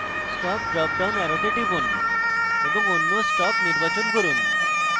stop drop down অ্যারোতে টিপুন এবং অন্য stop নির্বাচন করুন